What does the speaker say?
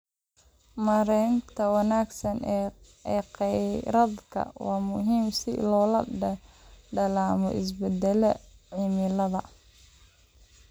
Maareynta wanaagsan ee kheyraadka waa muhiim si loola dagaallamo isbedelada cimilada.